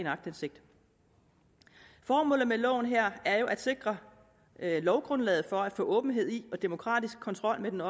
aktindsigt formålet med loven her er jo at sikre lovgrundlaget for at få åbenhed i og demokratisk kontrol med den